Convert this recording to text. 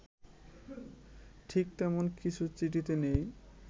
ঠিক তেমন কিছু চিঠিতে নেই